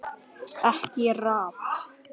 EKKI RAPP!!